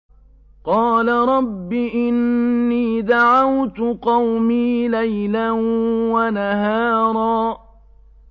قَالَ رَبِّ إِنِّي دَعَوْتُ قَوْمِي لَيْلًا وَنَهَارًا